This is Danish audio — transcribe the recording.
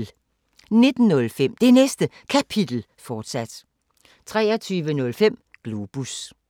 19:05: Det Næste Kapitel, fortsat 23:05: Globus